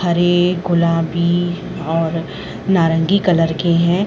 हरे गुलाबी और नारंगी कलर के हैं।